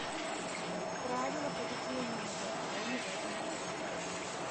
правила поведения на балконе в этом отеле